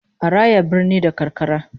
A raya birni da karkara